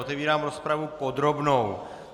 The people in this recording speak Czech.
Otevírám rozpravu podrobnou.